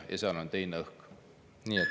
Seal on teine õhk.